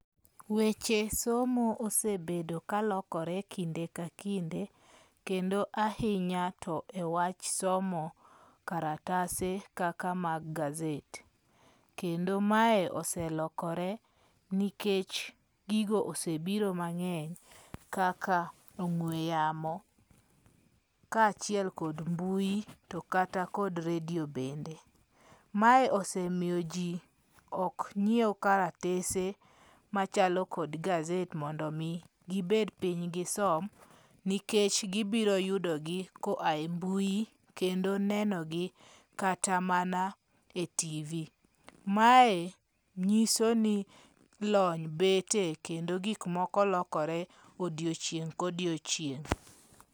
Weche somo osebedo kalokore kinde ka kinde. Kendo ahinya to e wach somo karatase kaka mag gazette. Kendo mae oselokore nikech gigo osebiro mang'eny kaka ong'we yamo ka achiel kod mbui to kata kod radio bende. Mae osemiyo ji ok nyiew karatese machalo kod gazette mondo mi gibed piny gisem nikech gibiro yudo gi ko ae mbui kendo nenogi kata mana e TV. Mae nyiso ni lony bete kendo gik moko lokore odiochieng' kodiochieng'.